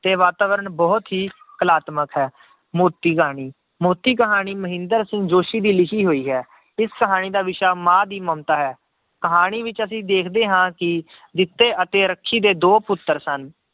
ਤੇ ਵਾਤਾਵਰਨ ਬਹੁਤ ਹੀ ਕਲਾਤਮਕ ਹੈ, ਮੋਤੀ ਕਹਾਣੀ, ਮੋਤੀ ਕਹਾਣੀ ਮਹਿੰਦਰ ਸਿੰਘ ਜੋਸ਼ੀ ਦੀ ਲਿਖੀ ਹੋਈ ਹੈ ਇਸ ਕਹਾਣੀ ਦਾ ਵਿਸ਼ਾ ਮਾਂ ਦੀ ਮਮਤਾ ਹੈ, ਕਹਾਣੀ ਵਿੱਚ ਅਸੀਂ ਦੇਖਦੇ ਹਾਂ ਕਿ ਜਿੱਤੇ ਅਤੇ ਰੱਖੀ ਦੇ ਦੋ ਪੁੱਤਰ ਸਨ